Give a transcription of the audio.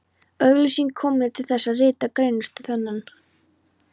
Auglýsingin kom mér til þess, að rita greinarstúf þennan.